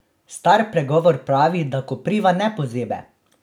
Star pregovor pravi, da kopriva ne pozebe!